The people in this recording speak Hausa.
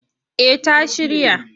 Eh ta shirya.